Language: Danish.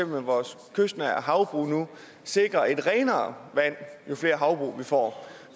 ved vores kystnære havbrug nu sikrer renere vand jo flere havbrug vi får